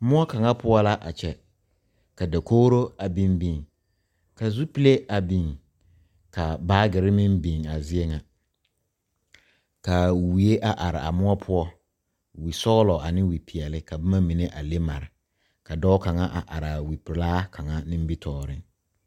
Moɔ kaŋa poɔ la a kyɛ ka dakogro a biŋ biŋ ka zupile a biŋ ka baagere meŋ biŋ a zie ŋa ka wie a are a moɔ poɔ wisɔglɔ ane wipeɛle ka boma mine a le mare ka dɔɔ kaŋa a are a wipelaa kaŋa nimitɔɔreŋ.